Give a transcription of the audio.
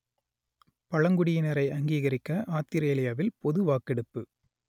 பழங்குடியினரை அங்கீகரிக்க ஆத்திரேலியாவில் பொது வாக்கெடுப்பு